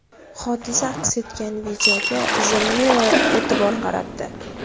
Hodisa aks etgan videoga The Mirror e’tibor qaratdi .